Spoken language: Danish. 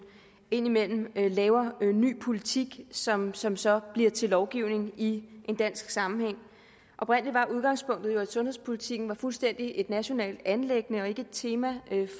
indimellem laver ny politik som som så bliver til lovgivning i en dansk sammenhæng oprindelig var udgangspunktet jo at sundhedspolitikken var et fuldstændig nationalt anliggende og ikke et tema